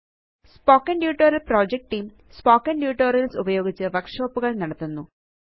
spoken tutorial project team spoken tutorials ഉപയോഗിച്ച് വര്ക്ഷോപ്പുകള് നടത്തുന്നു